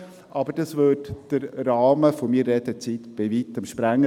Dies würde aber den Rahmen meiner Redezeit bei Weitem sprengen.